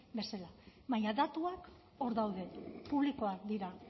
bezala baina datuak hor daude publikoak dira